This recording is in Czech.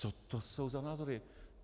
Co to jsou za názory?